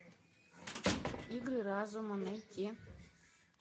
игры разума найти